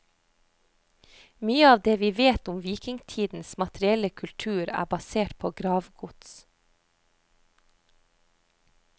Mye av det vi vet om vikingtidens materielle kultur er basert på gravgods.